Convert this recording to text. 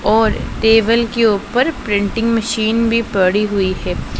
और टेबल के ऊपर प्रिंटिंग मशीन भी पड़ी हुई है।